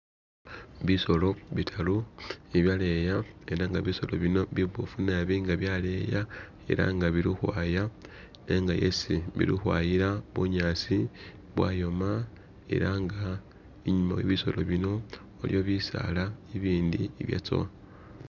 Bisoolo bitaru bibyaleya, ela nga bisoolo bino biboofu nabi nga byaleya, ela nga bili ukhwaya nenga yesi bili ukhwayila bunyaasi bwayoma ela nga inyuma we bisoolo bino waliwo bisaala ibindi ibyatsowa